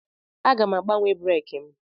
Aga m agbanwe breeki m.